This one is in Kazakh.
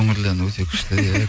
көңілді ән өте күшті иә